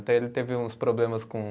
Até ele teve uns problemas com